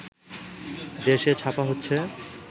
দেশ-এ ছাপা হচ্ছে